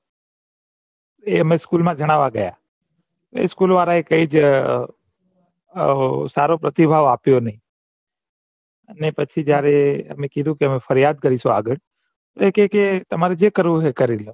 એ અમે એ school મા ગણાવા ગયા એ school વાળા એ કઈ જ સારો પ્રતિભાવ આપ્યો નહિ ને પછી જયારે એમ કીધું કે અમે ફરિયાદ કરીશું આગળ એ કે તમાર જે કરવું હોય એ કરીલો